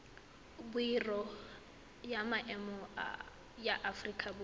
biro ya maemo ya aforika